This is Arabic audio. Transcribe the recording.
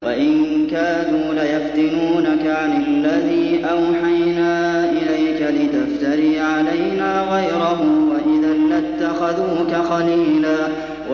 وَإِن كَادُوا لَيَفْتِنُونَكَ عَنِ الَّذِي أَوْحَيْنَا إِلَيْكَ لِتَفْتَرِيَ عَلَيْنَا غَيْرَهُ ۖ وَإِذًا لَّاتَّخَذُوكَ خَلِيلًا